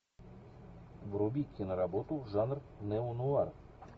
вруби киноработу жанр неонуар